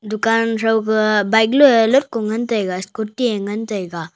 dukaan thaukah bike loye lotko ngantaiga scooty ye ngantaiga.